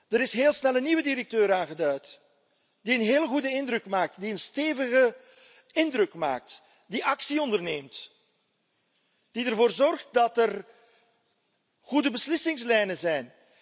Er is heel snel een nieuwe directeur aangeduid die een hele goede indruk maakt, die een stevige indruk maakt, die actie onderneemt, die ervoor zorgt dat er goede beslissingslijnen zijn.